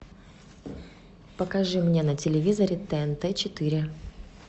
покажи мне на телевизоре тнт четыре